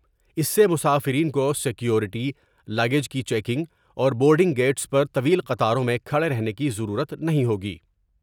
اس سے مسافرین کو سیکوریٹی ، لگیج کی چیکنگ اور بورڈ نگ گیٹس پر طویل قطاروں میں کھڑے رہنے کی ضرورت نہیں ہوگی ۔